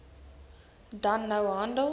dan nou handel